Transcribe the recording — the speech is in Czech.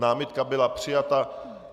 Námitka byla přijata.